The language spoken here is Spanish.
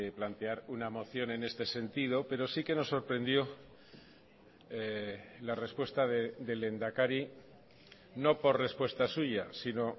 plantear una moción en este sentido pero sí que nos sorprendió la respuesta del lehendakari no por respuesta suya sino